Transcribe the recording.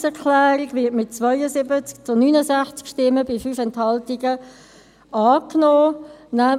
Eine Planungserklärung wird mit 72 zu 69 Stimmen bei 5 Enthaltungen abgenommen.